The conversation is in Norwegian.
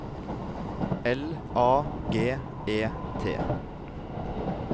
L A G E T